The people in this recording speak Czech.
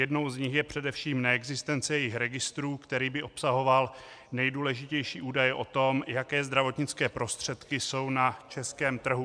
Jednou z nich je především neexistence jejich registru, který by obsahoval nejdůležitější údaje o tom, jaké zdravotnické prostředky jsou na českém trhu.